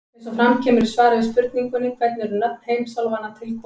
Eins og fram kemur í svari við spurningunni Hvernig eru nöfn heimsálfanna til komin?